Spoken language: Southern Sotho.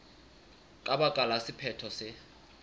ka baka la sephetho se